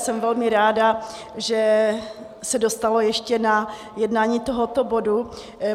Jsem velmi ráda, že se dostalo ještě na jednání tohoto bodu.